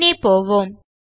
பின்னே போவோம்